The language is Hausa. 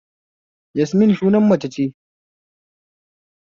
Yasmin sunan mace ce